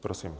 Prosím.